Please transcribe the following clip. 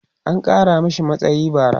an Kara mashi matsayi bara